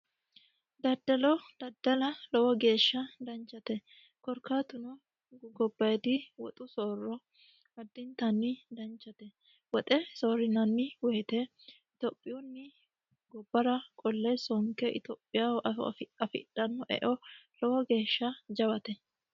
Daddalo daddala lowo geeshsha danchate korkaatuno gobbayiidi woxu soorro adintanni danchate. Woxe soorrinanni woyiite itiyophiyuni gobbara qolle sonke itiyophiyaho afidhanno eo lowo geeshsha danchate.